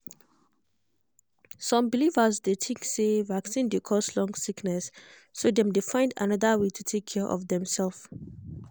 some believers dey think say vaccine dey cause long sickness so dem dey find another way to take care of demself.